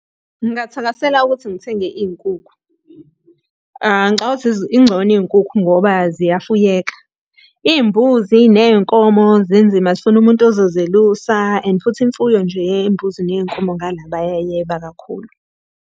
Ngingathakasela ukuthi ngithenge iy'nkukhu. Ngicabangi ukuthi ingcono iy'nkukhu ngoba ziyafuyeka. Iy'mbuzi ney'nkomo zinzima zifuna umuntu ozozelusa and futhi imfuyo nje yey'mbuzi ney'nkomo ngala bayayeba kakhulu.